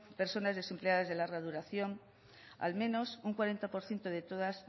personas desempleadas de larga duración al menos un cuarenta por ciento